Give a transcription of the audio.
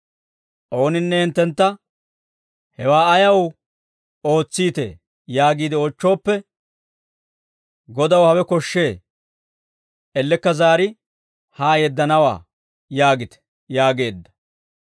Ooninne hinttentta, ‹Hewaa ayaw ootsite?› yaagiide oochchooppe, ‹Godaw hawe koshshee; ellekka zaari haa yeddanawaa› yaagite» yaageedda.